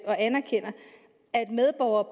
og anerkender at medborgere